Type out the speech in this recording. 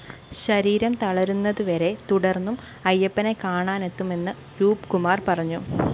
ശരീരം തളരുന്നതുവരെ തുടര്‍ന്നും അയ്യപ്പനെ കാണാനെത്തുമെന്ന്‌ രൂപ്കുമാര്‍ പറഞ്ഞു